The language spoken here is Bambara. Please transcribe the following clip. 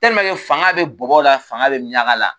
fanga be bɔbɔ la fanga be miɲanga la